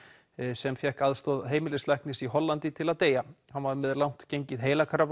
sem fékk aðstoð heimilislæknis í Hollandi til að deyja hann var með langt gengið